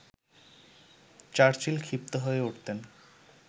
Churchill ক্ষিপ্ত হয়ে উঠতেন